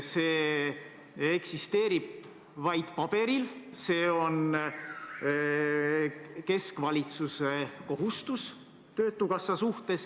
See eksisteerib vaid paberil, see on keskvalitsuse kohustus töötukassa suhtes.